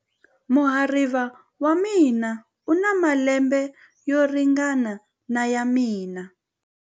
Muhariva wa mina u na malembe yo ringana na ya mina.